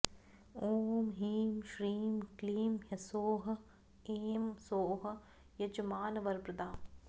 ॐ ह्रीं श्रीं क्लीं ह्सौः ऐं सौः यजमानवरप्रदा